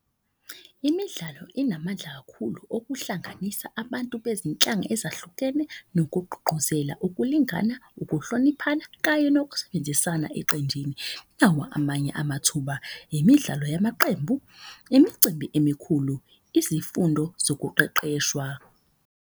Imidlalo inamandla kakhulu okuhlanganisa abantu bezinhlanga ezahlukene. Nokugqugquzela ukulingana, ukuhloniphana kanye nokusebenzisana eqenjini. Nawa amanye amathuba, imidlalo yamaqembu, imicimbi emikhulu, izifundo zokuqeqeshwa.